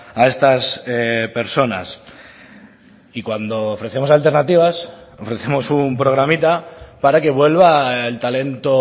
a estas personas y cuando ofrecemos alternativas ofrecemos un programita para que vuelva el talento